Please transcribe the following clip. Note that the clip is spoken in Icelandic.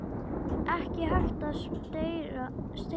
Ekki hægt að steypa.